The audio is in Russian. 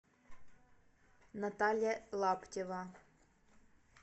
наталья лаптева